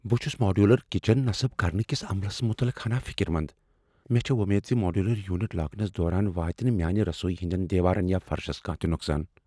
بہٕ چھس modular kitchen نسب کرنہٕ کس عملس متعلق ہنا فِكر مند ۔مے٘ چھے٘ وومید ز ماڈیولر یونٹ لاگنس دوران واتہِ نہٕ میٲنہِ رسویہ ہندین دیوارن یا فرشس کانٛہہ تہ نۄقصان ۔